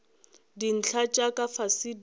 dintlha tša ka fase di